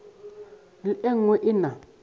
le e nngwe e na